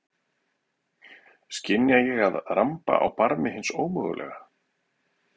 Skynja að ég ramba á barmi hins ómögulega.